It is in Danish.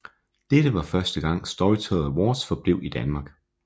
Dette var første gang Storytel Awards blev i Danmark